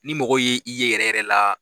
Ni mɔgɔw ye i ye yɛrɛ yɛrɛ la